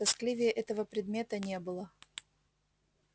тоскливее этого предмета не было